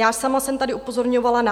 Já sama jsem tady upozorňovala